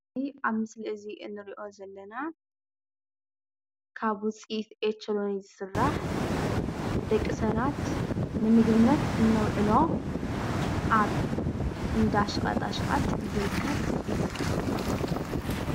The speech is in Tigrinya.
እዚ ኣብ ምስሊ እዙይ እንርእዮ ዘለና ካብ ውፅኢት ኦቸለኒ ዝስራሕ ደቂ ሰባት ንምግብነት እነውዕሎ አብ እንዳ ሸቀጣሸቀጥ ዝርከብ እዩ።